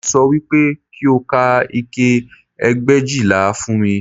Mo sọ wípé kí o ka ike ẹgbẹ̀éjìlá fún mi